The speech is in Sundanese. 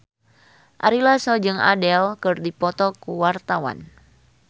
Ari Lasso jeung Adele keur dipoto ku wartawan